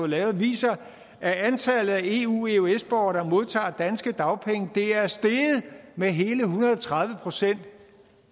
lavet viser at antallet af eu eøs borgere der modtager danske dagpenge er steget med hele en hundrede og tredive procent